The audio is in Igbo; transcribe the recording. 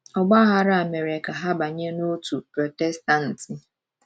Ọgba aghara a mere ka ha banye n’òtù Protestantị.